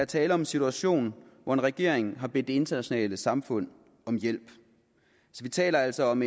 tale om en situation hvor en regering har bedt det internationale samfund om hjælp vi taler altså om